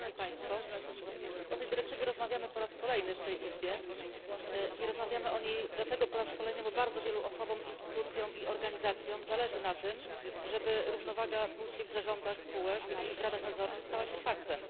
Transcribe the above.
O tej dyrektywie rozmawiamy po raz kolejny w tej izbie i rozmawiamy o niej dlatego po raz kolejny, bo bardzo wielu osobom, instytucjom i organizacjom zależy na tym, żeby równowaga płci w zarządach spółek i w radach nadzorczych stała się faktem.